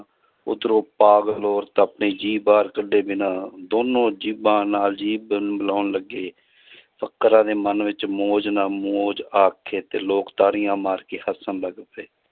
ਉਧਰੋਂ ਪਾਗਲ ਔਰਤ ਆਪਣੀ ਜੀਭ ਬਾਹਰ ਕੱਢੇ ਬਿਨਾਂ ਦੋਨੋਂ ਜੀਭਾਂ ਨਾਲ ਜੀਭ ਮਿਲਾਉਣ ਲੱਗੇ ਫ਼ੱਕਰਾਂ ਦੇ ਮਨ ਵਿੱਚ ਮੌਜ ਨਾਲ ਮੌਜ ਆਖੇ ਤੇ ਲੋਕ ਤਾੜੀਆਂ ਮਾਰ ਕੇ ਹੱਸਣ ਲੱਗ ਪਏ